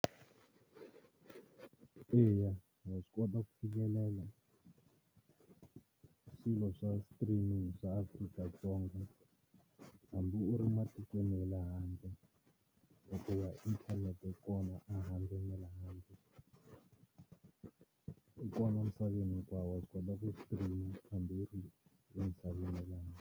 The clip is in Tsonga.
Eya wa swi kota ku fikelela swilo swa streaming swa Afrika-Dzonga hambi u ri matikweni ya le handle hikuva inthanete yi kona a handle na le handle, yi kona emisaveni hinkwawo wa swi kota ku stream hambi yi ri emisaveni ya le handle.